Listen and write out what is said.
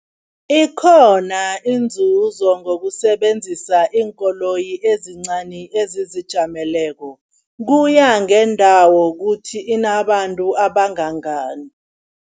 Ikhona inzuzo ngokusebenzisa iinkoloyi ezincani, ezizijameleko kuya ngendawo kuthi inabantu abangangani.